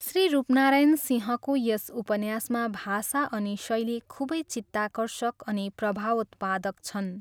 श्री रूपनारायण सिंहको यस उपन्यासमा भाषा अनि शैली खुबै चित्ताकर्षक अनि प्रभावोत्पादक छन्।